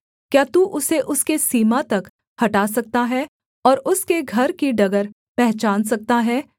क्या तू उसे उसके सीमा तक हटा सकता है और उसके घर की डगर पहचान सकता है